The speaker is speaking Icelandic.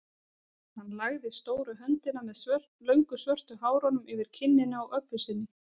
Hann lagði stóru höndina með löngu svörtu hárunum yfir kinnina á Öbbu hinni.